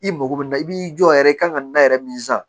I mago bɛ na i b'i jɔ yɛrɛ i kan ka na yɛrɛ min san